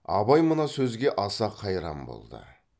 абай мына сөзге аса қайран болды